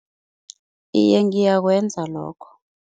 Iye, ngiyakwenza lokho.